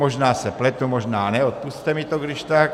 Možná se pletu, možná ne, odpusťte mi to když tak.